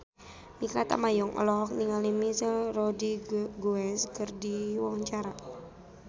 Mikha Tambayong olohok ningali Michelle Rodriguez keur diwawancara